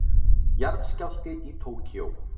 Jarðskjálfti í Tókýó